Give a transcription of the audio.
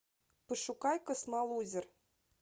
пошукай космолузер